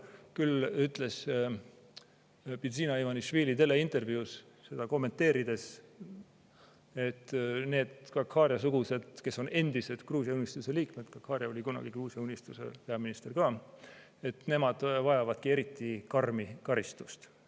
Küll ütles Bidzina Ivanišvili teleintervjuus seda kommenteerides, et Gahharia-sugused inimesed, kes on endiselt Gruusia Unistuse liikmed – Gahharia oli kunagi Gruusia Unistuse peaminister ka –, vajavadki eriti karmi karistust.